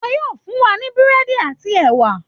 Wọ́n yóò fún wa ní Búrẹ́dì àti ẹwà